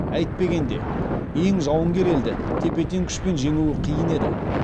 әйтпегенде ең жауынгер елді тепе тең күшпен жеңу қиын еді